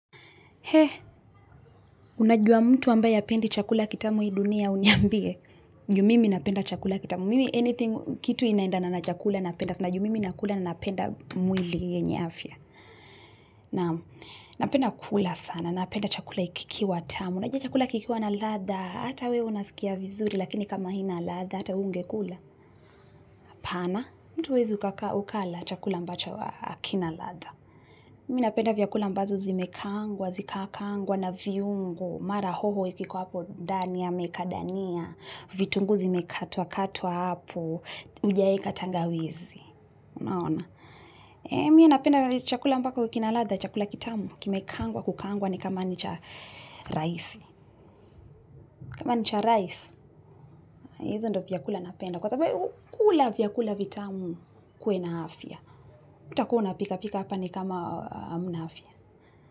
He, unajua mtu ambaye hapendi chakula kitamu hii dunia uniambie? Ju mimi napenda chakula kitamu. Mimi anything, kitu inaendana chakula napenda. Na ju mimi nakula ninapenda mwili yenye afya. Naam. Napenda kula sana. Napenda chakula kikiwa tamu. Unajua chakula kikiwa na ladha. Hata wewe unasikia vizuri lakini kama haina ladha. Hata ungekula. Hapana. Mtu huwezi ukala chakula ambacho hakina ladha. Mimi napenda vyakula ambazo zimekaangwa, zikakaangwa, na viungo. Mara hoho ikikuwa hapo ndani ameweka dania, vitunguzi vimekatwa katwa hapo, ujaweka tangawizi, unaona. Mie napenda chakula ambako kina ladha, chakula kitamu, kimekaangwa kukaangwa ni kama ni cha rais. Kama ni cha rais, hizi ndio vyakula napenda. Kwa sababu kula vyakula vitamu ukuwe na afya. Hautakuwa unapika pika hapa ni kama hamna afya.